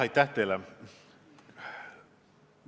Aitäh teile!